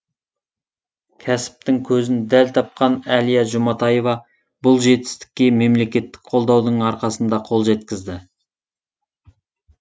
кәсіптің көзін дәл тапқан әлия жұматаева бұл жетістікке мемлекеттік қолдаудың арқасында қол жеткізді